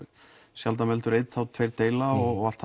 sjaldan veldur einn er tveir deila og allt